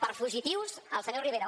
per fugitius el senyor rivera